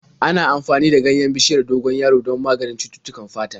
Ana amfani da ganyen bishiyar dogon yaro don maganin cututtukan fata.